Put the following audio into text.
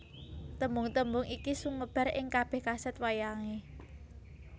Tembung tembung iki sumebar ing kabèh kasèt wayangé